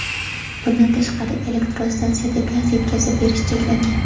Bundan tashqari, elektrostansiyada gaz yetkazib berish cheklangan.